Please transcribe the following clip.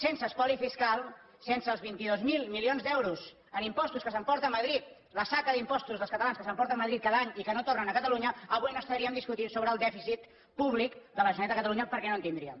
sense espoli fiscal sense els vint dos mil milions d’euros en impostos que s’emporta madrid la saca d’impostos dels catalans que s’emporta madrid cada any i que no tornen a catalunya avui no estaríem discutint sobre el dèficit públic de la generalitat de catalunya perquè no en tindríem